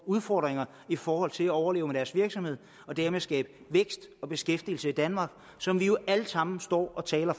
udfordringer i forhold til at overleve med deres virksomhed og dermed skabe vækst og beskæftigelse i danmark som vi jo alle sammen står og taler